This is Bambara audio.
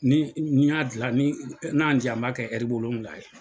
Ni n'i y'a dila ni n'a yan jan an b'a kɛ wolonwula ye.